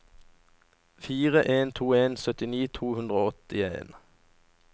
fire en to en syttini to hundre og åttien